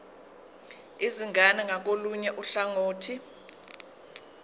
izingane ngakolunye uhlangothi